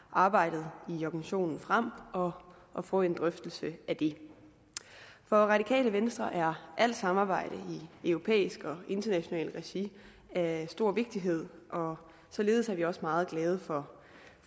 arbejdet i organisationen frem og og få en drøftelse af det for radikale venstre er alt samarbejde i europæisk og internationalt regi af stor vigtighed og således er vi også meget glade for